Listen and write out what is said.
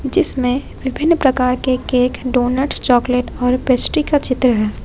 जिसमें विभिन्न प्रकार के केक डोनट्स चॉकलेट और पेस्ट्री का चित्र है।